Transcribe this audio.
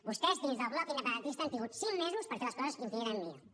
vostès dins del bloc independentista han tingut cinc mesos per fer les coses infinitament millor